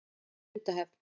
Sundahöfn